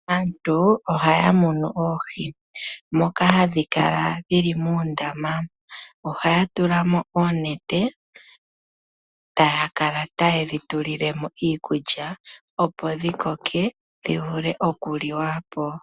Aantu ohaya mono oohi moka hadhi kala dhili moondama, ohaya tula mo oonete taya kala ta yedhi tulilemo iikulya opo dhi koke dhivule okuliwa po.